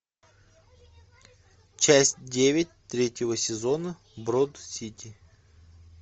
часть девять третьего сезона брод сити